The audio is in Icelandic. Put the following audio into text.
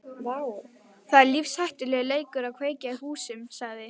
Það er lífshættulegur leikur að kveikja í húsum sagði